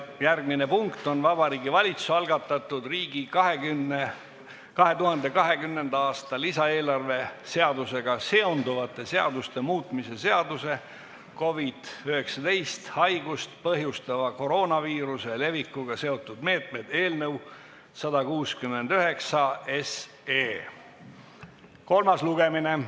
Järgmine punkt on Vabariigi Valitsuse algatatud riigi 2020. aasta lisaeelarve seadusega seonduvate seaduste muutmise seaduse eelnõu 169 kolmas lugemine.